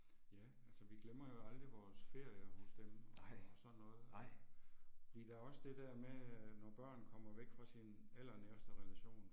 Ja, altså vi glemmer jo aldrig vores ferier hos dem og sådan noget. Vi lader os det der med når børn kommer væk fra sine allernæreste relationer